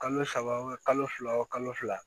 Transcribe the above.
Kalo saba wo kalo fila wo kalo fila